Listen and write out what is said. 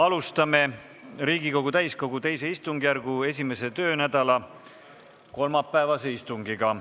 Alustame Riigikogu täiskogu II istungjärgu 1. töönädala kolmapäevast istungit.